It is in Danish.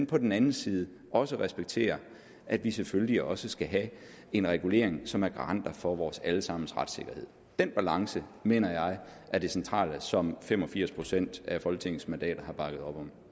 på den anden side også at respektere at vi selvfølgelig også skal have en regulering som er garant for vores alle sammens retssikkerhed den balance mener jeg er det centrale som fem og firs procent af folketingets mandater har bakket op om